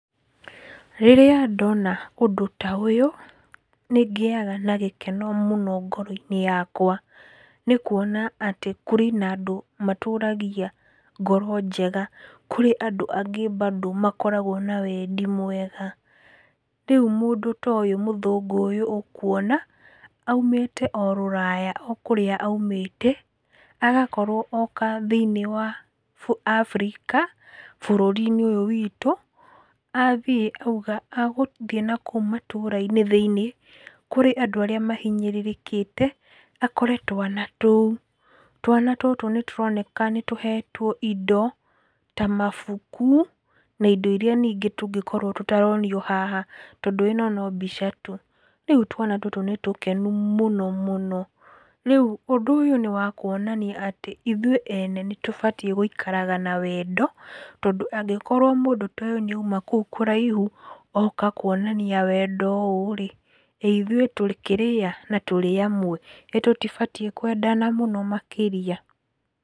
Rĩrĩa ndona ũndũ ta ũyũ, nĩ ngĩaga na gĩkeno ngoro-inĩ yakwa, nĩ kuona atĩ kũrĩ na andũ matũragia ngoro njega, kũrĩ andũ angĩ mbandũ makoragwo na wendi mwega. Rĩu mũndũ ta ũyũ, mũthũngũ ũyũ ũkuona, aumĩte o rũraya o kũrĩa aumĩte agakorwo oka thĩiniĩ wa abirika bũrũri-inĩ ũyũ witũ, athiĩ auga agaũthiĩ na kũu matũra-inĩ thĩiniĩ kũrĩ andũ arĩa mahinyĩrĩrĩkĩte akore twana tũu. Twana tũtũ nĩ tũroneka nĩ tũhetwo indo ta mabuku na indo iria ningĩ tũngĩkorwo tũtaronio haha, tondũ ĩno no mbica tu. Rĩu twana tũtũ nĩ tũkenu mũno mũno. Rĩu ũndũ ũyũ nĩ wa kuonania atĩ ithuĩ ene nĩ tũbatiĩ gũikaraga na wendo, tondũ angĩkorwo mũndũ ta ũyũ nĩ auma kũu kũraihu oka kuonania wendo ũũ-rĩ, ĩ ithuĩ tũkĩ rĩ a, na tũkĩrĩ amwe, ĩ tũtibatiĩ kwendana mũno makĩria?